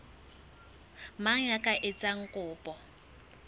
mang ya ka etsang kopo